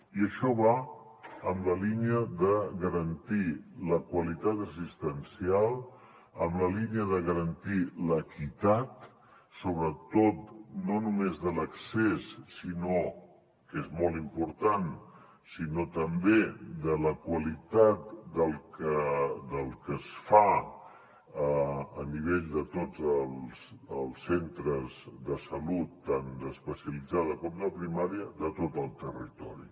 i això va en la línia de garantir la qualitat assistencial en la línia de garantir l’equitat sobretot no només de l’accés que és molt important sinó també de la qualitat del que es fa a nivell de tots els centres de salut tant d’especialitzada com de primària de tot el territori